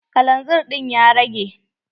Kalanzir ɗin ya rage?